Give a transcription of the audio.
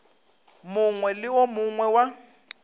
mongwe le wo mongwe wa